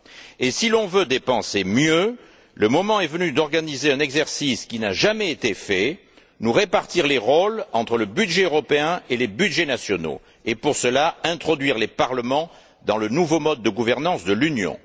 Et si l'on veut dépenser mieux, le moment est venu d'organiser un exercice qui n'a jamais été fait, nous répartir les rôles entre le budget européen et les budgets nationaux, et, pour cela, introduire les parlements dans le nouveau mode de gouvernance de l'Union.